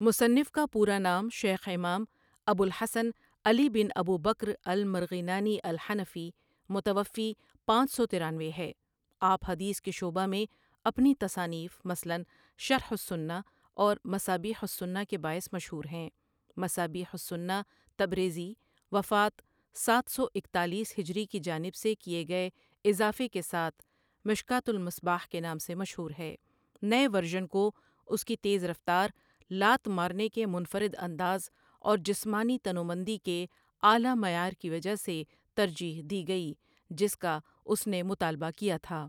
مصنف کا پورا نام شيخ امام، ابو الحسن علی بن ابوبكر المرغينانی، الحنفی متوفی پانچ سو ترانوے ہے آپ حدیث کے شعبہ میں اپنی تصانیف مثلاً شرح السنۃ اور مصابیح السنۃ کے باعث مشہور ہیں مصابیح السنۃ، تبریزی وفات سات سو اکتالیس ہجری کی جانب سے کیے گئے اضافے کے ساتھ مشکٰوۃ المصباح کے نام سے مشہور ہے نئے ورژن کو اس کی تیز رفتار، لات مارنے کے منفرد انداز اور جسمانی تنومندی کے اعلیٰ معیار کی وجہ سے ترجیح دی گئی، جس کا اس نے مطالبہ کیا تھا۔